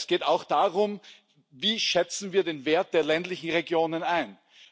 Es geht auch darum Wie schätzen wir den Wert der ländlichen Regionen ein?